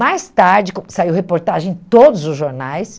Mais tarde, saiu reportagem em todos os jornais,